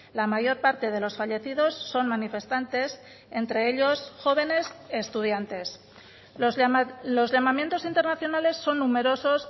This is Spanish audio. la mayor parte de los fallecidos son manifestantes entre ellos jóvenes estudiantes los llamamientos internacionales son numerosos